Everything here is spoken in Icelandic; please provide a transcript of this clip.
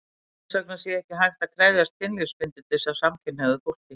Þess vegna sé ekki hægt að krefjast kynlífsbindindis af samkynhneigðu fólki.